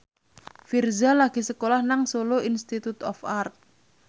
Virzha lagi sekolah nang Solo Institute of Art